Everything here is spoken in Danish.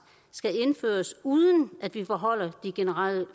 skal indføres uden at vi forhøjer de generelle